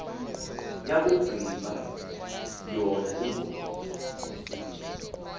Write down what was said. yakugqiba yona imbongi